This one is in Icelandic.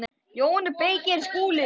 JÓN BEYKIR: Skúli!